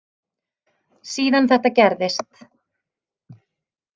Síðan þetta gerðist.